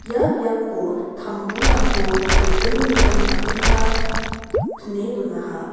ia biapo tamburangko riting riting dakenba pine donaha.